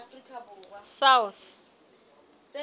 south